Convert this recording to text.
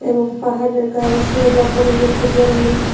এবং পাহাড়ের গায়ে শ্যাওলা পড়ে গেছে জল্লে --